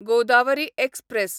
Godavari express